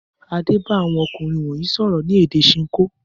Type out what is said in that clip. Adé bá àwọn ọkùnrin wọ̀nyí sọ̀rọ̀ ní èdè Ṣinkó?